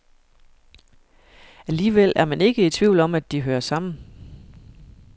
Alligevel er man ikke i tvivl om, at de hører sammen.